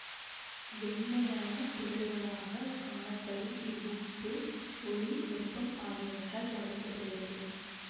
வெண்மையான துகள்களாக காணப்படும் இவ்வுப்பு ஒளி வெப்பம் ஆகியவற்றால் பாதிக்க படுகிறது